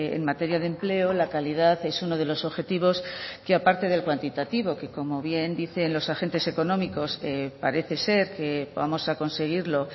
en materia de empleo la calidad es uno de los objetivos que aparte del cuantitativo que como bien dicen los agentes económicos parece ser que vamos a conseguirlo